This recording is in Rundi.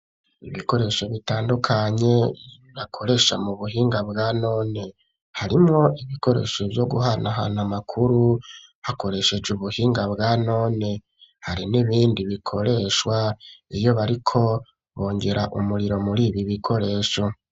Ibikoresho bitandukanye rakoresha mu buhinga bwa none harimwo ibikoresho vyo guhana ahantu amakuru hakoresheje ubuhinga bwa none hari n'ibindi bikoreshwa iyo bariko bonjera umuriro muri ibi bikoresho.